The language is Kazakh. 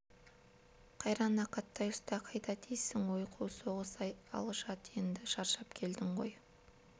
қайран ақаттай ұста қайда дейсің ой қу соғыс-ай ал жат енді шаршап келдің ғой